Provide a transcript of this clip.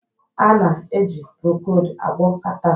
A na-eji Procold agwọ catarrh